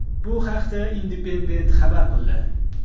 Bu haqda Independent xabar qildi .